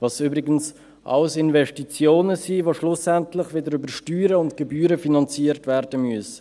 was übrigens alles Investitionen sind, die schlussendlich wieder über Steuern und Gebühren finanziert werden müssen.